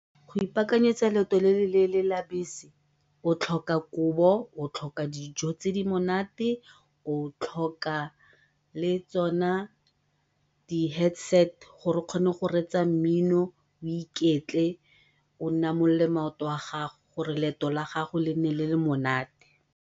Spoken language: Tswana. Go ipaakanyetsa leeto le le leele la bese o tlhoka kobo, o tlhoka dijo tse di monate, o tlhoka le tsona di-headset gore o kgone go reetsa mmino, o iketle o namolole maoto a gago gore leeto la gago e nne le le monate.